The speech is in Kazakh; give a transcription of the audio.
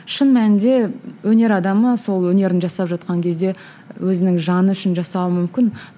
шын мәнінде өнер адамы сол өнерін жасап жатқан кезде өзінің жаны үшін жасауы мүмкін